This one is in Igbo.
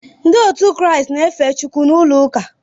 Ndị kiristian na-efe Chukwu n’ulouka